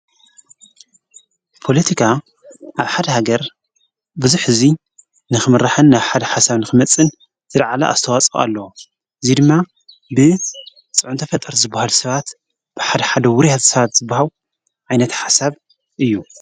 ጶሎቲካ ኣብ ሓደ ሃገር ብዙኅ ሕዙይ ንኽምራሕን ናብ ሓድ ሓሳብ ንክመጽን ዝድዓላ ኣስተዋጸኦ ኣሎ ዙይ ድማ ብጽዑንተ ፈጠር ዝብሃል ሰባት ብሓደ ሓደ ውር ኣትሰባት ዝብሃው ዓይነት ሓሳብ እዩ።